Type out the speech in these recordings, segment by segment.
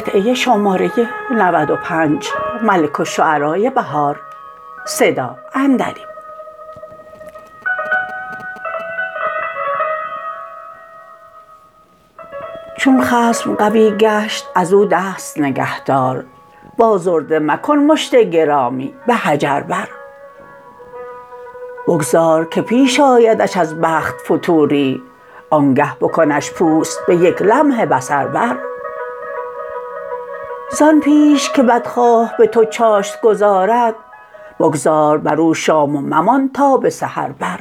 چون خصم قوی گشت از او دست نگهدار و آزرده مکن مشت گرامی به حجر بر بگذار که پیش آیدش از بخت فتوری آنگه بکنش پوست به یک لمح بصر بر زان پیش که بدخواه به تو چاشت گذارد بگذار بر او شام و ممان تا به سحر بر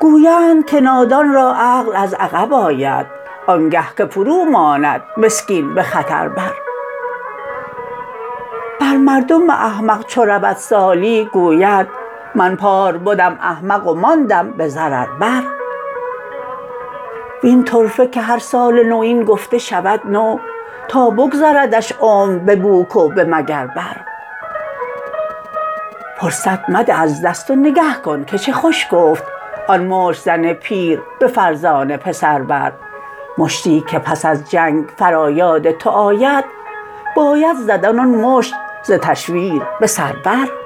گویند که نادان را عقل از عقب آید آنگه که فرو ماند مسکین به خطر بر بر مردم احمق چو رود سالی گوید من پار بدم احمق و ماندم به ضرر بر وین طرفه که هرسال نو این گفته شود نو تا بگذردش عمر به بوک و به مگر بر فرصت مده از دست و نگه کن که چه خوش گفت آن مشت زن پیر به فرزانه پسر بر مشتی که پس از جنگ فرا یاد تو آید باید زدن آن مشت ز تشویر بسر بر